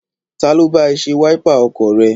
Ta ló bá ẹ ṣe wáípà ọkọ̀ rẹ?